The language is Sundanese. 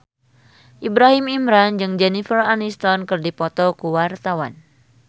Ibrahim Imran jeung Jennifer Aniston keur dipoto ku wartawan